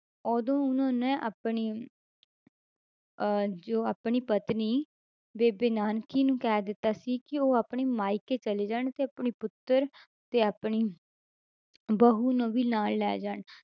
ਉਦੋਂ ਉਹਨਾਂ ਨੇ ਆਪਣੀ ਅਹ ਜੋ ਆਪਣੀ ਪਤਨੀ ਬੇਬੇ ਨਾਨਕੀ ਨੂੰ ਕਹਿ ਦਿੱਤਾ ਸੀ ਕਿ ਉਹ ਆਪਣੀ ਮਾਈਕੇ ਚਲੀ ਜਾਣ ਤੇ ਆਪਣੀ ਪੁੱਤਰ ਤੇ ਆਪਣੀ ਬਹੂ ਨੂੰ ਵੀ ਨਾਲ ਲੈ ਜਾਣ,